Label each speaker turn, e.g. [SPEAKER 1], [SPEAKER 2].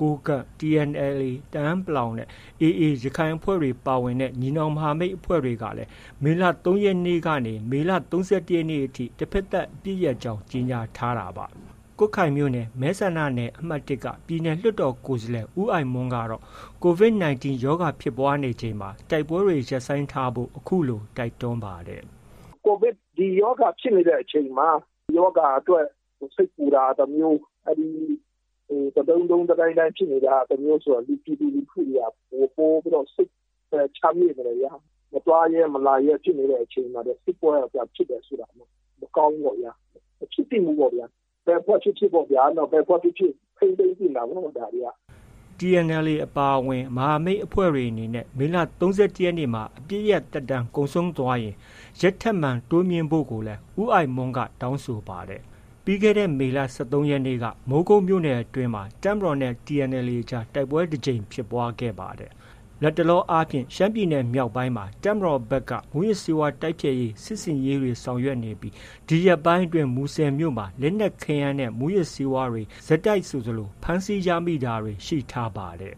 [SPEAKER 1] ကိုးကန့်၊ TNLA တအာင်းပလောင်နဲ့ AA ရခိုင်အဖွဲ့ပါဝင်တဲ့ ညီနောင်မဟာမိတ်အဖွဲ့တွေကလည်း မေလ ၃ ရက်နေ့ကနေ မေလ ၃၁ ရက်နေ့အထိ တဘက်သတ်အပစ်ရပ်ကြောင်း ကြေညာထားတာပါ။ ကွတ်ခိုင်မြို့နယ် မဲဆန္ဒနယ် အမှတ် ၁ က ပြည်နယ်လွှတ်တော်ကိုယ်စားလှယ် ဦးအိုက်မွန်းကတော့ COVID-19 ရောဂါ ဖြစ်ပွားနေချိန်မှာ တိုက်ပွဲတွေ ရပ်ဆိုင်းထားဖို့ အခုလို တိုက်တွန်းပါတယ်။ “COVID ဒီရောဂါဖြစ်နေတဲ့အချိန်မှာ ရောဂါအတွက် စိတ်ပူတာက တစ်မျိုး၊ အဲဒီတဒုန်းဒုန်း တဒိုင်းဒိုင်းဖြစ်နေတာက တစ်မျိုးဆိုတော့ ပြည်သူလူထုတွေက ပိုပြီးတော့ စိတ် ဘယ်ချမ်းမြေ့မလဲဗျာ။ မသွားရဲ၊ မလာရဲ ဖြစ်နေတဲ့အချိန်မှာ စစ်ပွဲက ပြန်ဖြစ်တယ်ဆိုတာ မကောင်းဘူးပေါ့ဗျာ။ မဖြစ်သင့်ဘူးပေါ့ဗျာ။ ဘယ်အဖွဲ့ဖြစ်ဖြစ်ဗျာ။ ဘယ်အဖွဲ့ဖြစ်ဖြစ် ထိန်းသိမ်းသင့်တာပေါ့။ ဒါတွေက။” TNLA အပါအဝင် မဟာမိတ်အဖွဲ့တွေအနေနဲ့ မေလ ၃၁ ရက်မှာ အပစ်ရပ်သက်တမ်းကုန်ဆုံးသွားရင် ရက်ထပ်မံ တိုးမြှင့်ဖို့ကိုလည်း ဦးအိုက်မွန်းက တောင်းဆိုပါတယ်။ ပြီးခဲ့တဲ့ မေလ ၁၃ ရက်နေ့ကလည်း မိုးကုတ်မြို့နယ်အတွင်းမှာ တပ်မတော်နဲ့ TNLA အကြား တိုက်ပွဲတစ်ကြိမ်ဖြစ်ပွားခဲ့ပါတယ်။ လတ်တလာအားဖြင့် ရှမ်းပြည်နယ်မြောက်ပိုင်းမှာ တပ်မတော်ဘက်က မူးယစ်ဆေးဝါးတိုက်ဖျက်ရေး စစ်ဆင်ရေးတွေ ရှိနေပြီး၊ ဒီရက်ပိုင်းအတွင်း မူဆယ်မြို့မှာ လက်နက်ခဲယမ်းတွေနဲ့ မူးယစ်ဆေးဝါးတွေ ဆက်တိုက်ဆိုသလို ဖမ်းဆီးရမိတာတွေ ရှိထားပါတယ်